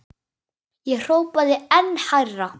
Ég hrópaði enn hærra.